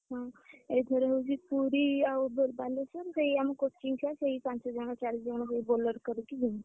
ଏଇଥର ହଉଛି ପୁରୀ ଆଉ ବାଲେଶ୍ୱର ସେଇ ଆମ coaching ଛୁଆ ସେଇ ପାଞ୍ଚ ଜଣ ସେଇ ଚାରି ଜଣ English କରିକି ଯିବୁ